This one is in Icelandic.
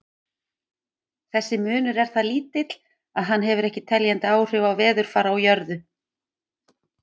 Þessi munur er það lítill að hann hefur ekki teljandi áhrif á veðurfar á jörðu.